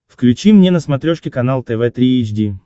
включи мне на смотрешке канал тв три эйч ди